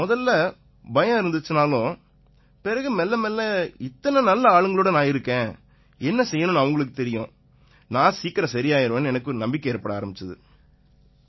முதல்ல பயம் இருந்திச்சுன்னாலும் பிறகு மெல்ல மெல்ல இத்தனை நல்ல ஆளுங்களோட நான் இருக்கேன் என்ன செய்யணும்னு அவங்களுக்குத் தெரியும் நான் சீக்கிரமே சரியாயிருவேன்னு எனக்கு நம்பிக்கை ஏற்பட ஆரம்பிச்சுது